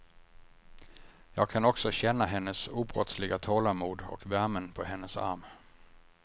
Jag kan också känna hennes obrottsliga tålamod och värmen på hennes arm.